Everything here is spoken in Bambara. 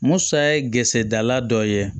Musa ye geresendala dɔ ye